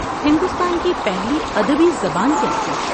ہندوستان کی پہلی ادبی زبان کیا تھی؟